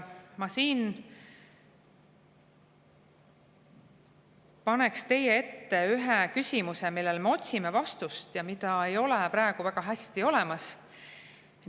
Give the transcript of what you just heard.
Ma siin paneks teie ette ühe küsimuse, millele me otsime vastust, mida ei ole praegu väga olemas.